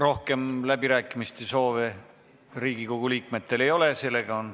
Rohkem läbirääkimiste soovi Riigikogu liikmetel ei ole.